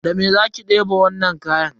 Da mene za ki debe wainnan kayan?